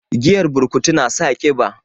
Giyar burkutu na sa kiba